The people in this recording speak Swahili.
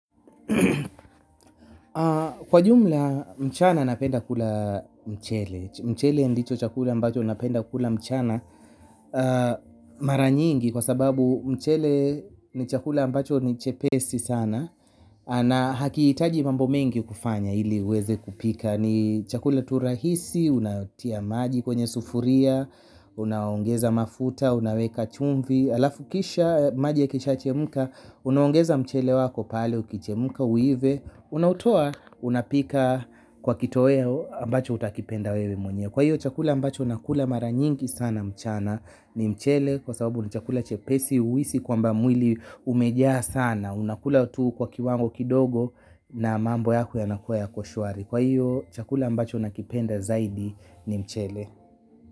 Kwa jumla mchana napenda kula mchele. Mchele ndicho chakula ambacho napenda kula mchana mara nyingi kwa sababu mchele ni chakula ambacho ni chepesi sana na hakiitaji mambo mengi kufanya ili uweze kupika. Ni chakula tu rahisi, unatia maji kwenye sufuria, unaongeza mafuta, unaweka chumvi halafu kisha maji yakisha chemka, unaongeza mchele wako pale ukichemka uive. Unautoa unapika kwa kitoweo ambacho utakipenda wewe mwenyewe kwa hiyo chakula ambacho nakula mara nyingi sana mchana ni mchele kwa sababu ni chakula chepesi huhisi kwamba mwili umejaa sana. Unakula tu kwa kiwango kidogo na mambo yako yanakuwa yako shwari kwa hiyo, chakula ambacho nakipenda zaidi ni mchele.